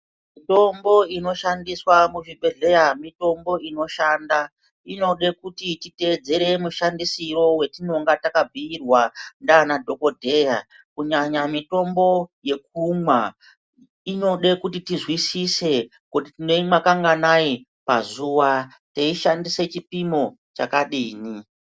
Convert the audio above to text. Mitombo inshandiswa muzvibhedhlera mitombo inoshanda, inode kuti titeedzere mushandisiro wetinonga takapiwa ndiana dhogodheya, kunyanya mitombo yekumwa inode kuti tizwisise kuti tinoimwa kanganai pazuva teishandise chipimo chakadini.